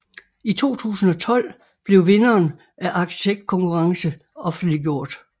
I 2012 blev vinderen af arkitektkonkurrence offentliggjort